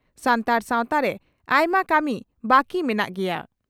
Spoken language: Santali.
ᱥᱟᱱᱛᱟᱲ ᱥᱟᱣᱛᱟᱨᱮ ᱟᱭᱢᱟ ᱠᱟᱹᱢᱤ ᱵᱟᱹᱠᱤ ᱢᱮᱱᱟᱜ ᱜᱮᱭᱟ ᱾